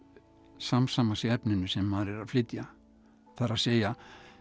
samsama sig efninu sem maður er að flytja það er að segja